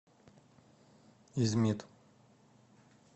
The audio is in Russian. измит